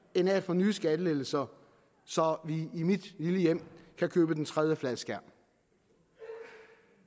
end af at få nye skattelettelser så vi i mit lille hjem kan købe den tredje fladskærm